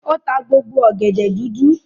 O ta gbogbo ọ̀gẹ̀dẹ̀ dúdú.